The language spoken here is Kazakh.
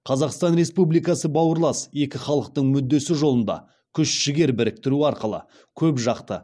қазақстан республикасы бауырлас екі халықтың мүддесі жолында күш жігер біріктіру арқылы көпжақты